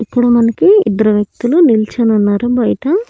ఇక్కడ మనకి ఇద్దరు వ్యక్తులు నిల్చొనున్నారు బయట.